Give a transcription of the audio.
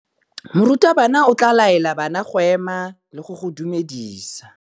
Morutabana o tla laela bana go ema le go go dumedisa.